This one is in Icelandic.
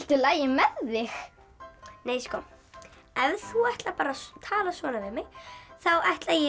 lagi með þig nei sko ef þú ætlar að tala svona við mig þá ætla ég